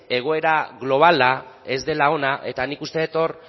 egoera globala ez dela ona eta nik uste dut hor